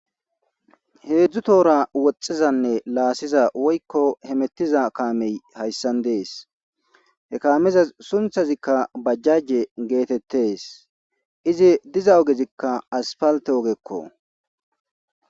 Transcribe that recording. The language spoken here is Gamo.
heedzdzu toora woxxizanne laassiza woykko hemettiza kaamey hayssan dees he kaameza sunthazikka bajjajje geetettes izi diza ogezikka aspalte ogekko